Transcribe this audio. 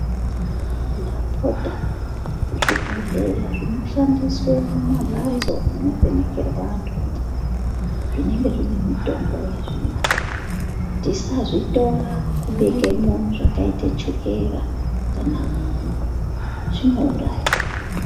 Ndapota zvibhohleya zvinoshandiswe mumamhatso munovhenekerwa anhumwo zvinenge zvine mitombo yazvinayo, tIsazvitora kubekemwo zvakaita ana chukera kana munyu zvinouraya.